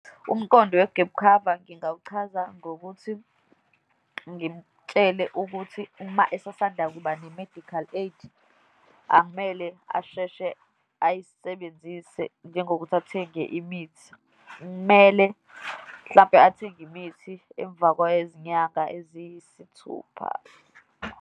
Umqondo we-gap cover ngingawuchaza ngokuthi ngimtshele ukuthi uma esasanda kuba ne-medical aid, akumele asheshe ayisebenzise, njengokuthi athenge imithi. Kumele, mhlampe athenge imithi emva kwezinyanga eziyisithupha.